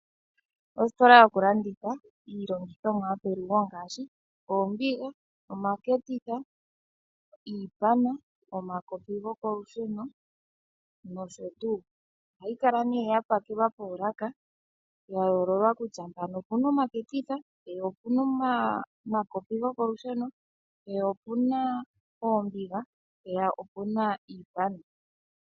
Ositola yokulanditha iilongithomwa yopelugo ngaashi oombiga, omaketitha, iipana, omakopi gokolusheno nosho tuu, ohayi Kala nee yapakelwa moolaka dhayololwa kutya mpano opuna omaketitha, mpeya opuna omakopi gokolusheno, mpeya opuna oombiga , mpeya opuna iipana.